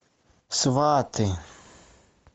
сваты